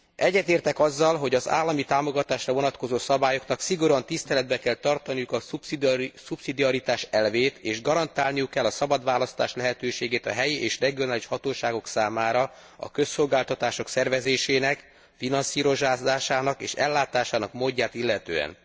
Egyetértek azzal, hogy az állami támogatásra vonatkozó szabályoknak szigorúan tiszteletben kell tartaniuk a szubszidiaritás elvét, és garantálniuk kell a szabad választás lehetőségét a helyi és regionális hatóságok számára, a közszolgáltatások szervezésének, finanszírozásának és ellátásának módját illetően.